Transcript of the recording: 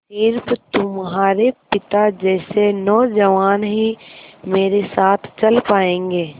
स़िर्फ तुम्हारे पिता जैसे नौजवान ही मेरे साथ चल पायेंगे